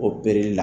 Opereli la